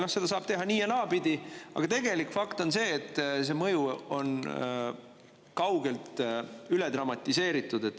Noh, seda saab teha nii- ja naapidi, aga tegelik fakt on see, et see mõju on kaugelt üle dramatiseeritud.